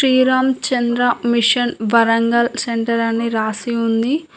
Sriram Chandra mission Warangal centre అని రాసి ఉంది.